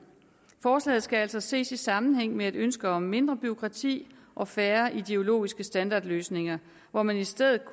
forslaget skal altså ses i sammenhæng med et ønske om mindre bureaukrati og færre ideologisk standardløsninger hvor man i stedet